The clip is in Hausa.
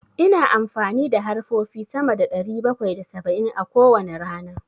Ina amfani da harfofi sama da ɗari bakwai da saba'in a kowane rana.